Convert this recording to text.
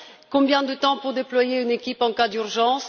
Combien de temps faudra t il pour déployer une équipe en cas d'urgence?